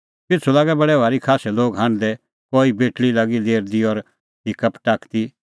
पिछ़ू लागै बडै भारी खास्सै लोग हांढदै कई बेटल़ी लागी लेरदी और हिक्का पटाकदी